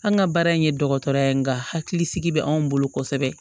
An ka baara in ye dɔgɔtɔrɔ ye nka hakili sigi bɛ anw bolo kosɛbɛ